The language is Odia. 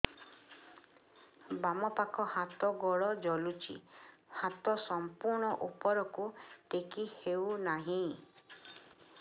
ବାମପାଖ ହାତ ଗୋଡ଼ ଜଳୁଛି ହାତ ସଂପୂର୍ଣ୍ଣ ଉପରକୁ ଟେକି ହେଉନାହିଁ